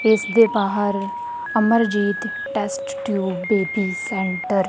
ਇਸ ਦੇ ਬਾਹਰ Amarjit test tube baby centre --